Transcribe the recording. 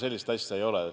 Sellist asja ei ole.